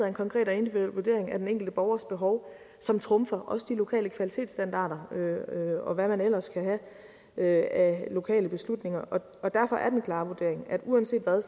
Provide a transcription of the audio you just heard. en konkret og individuel vurdering af den enkelte borgers behov som trumfer også de lokale kvalitetsstandarder og hvad man ellers kan have af lokale beslutninger og derfor er den klare vurdering at uanset hvad